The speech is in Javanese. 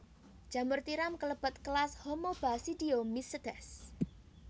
Jamur tiram kalebet kelas Homobasidiomycetes